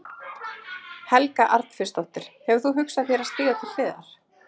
Helga Arnardóttir: Hefur þú hugsað þér að stíga til hliðar?